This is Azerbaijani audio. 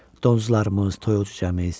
Donuzlarımız, toyuq-cücəmiz.